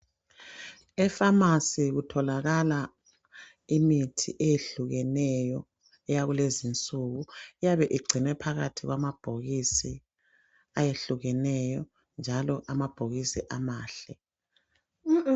Efamasi kutholakala imithi eyehlukeneyo eyakulezi insuku, iyabe igcinwe phakathi kwamabhokisi ayehlukeneyo njalo amabhokisi amahle.